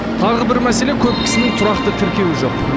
тағы бір мәселе көп кісінің тұрақты тіркеуі жоқ